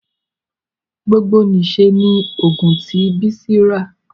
gbogbo n'iṣẹ ní ogún ti Bisi rá.